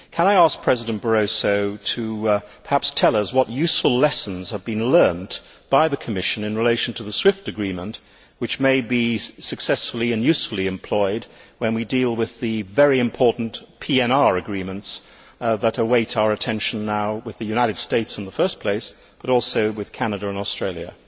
Can I ask President Barroso to perhaps tell us what useful lessons have been learned by the Commission in relation to the SWIFT agreement which may be successfully and usefully employed when we deal with the very important PNR agreements that await our attention, now with the United States in the first place, but also with Canada and Australia?